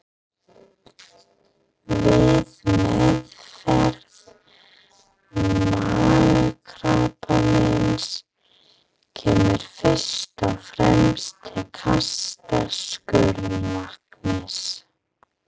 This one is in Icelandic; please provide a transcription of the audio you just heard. Við meðferð magakrabbameins kemur fyrst og fremst til kasta skurðlæknis.